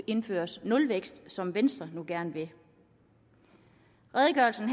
indført nulvækst som venstre nu gerne vil redegørelsen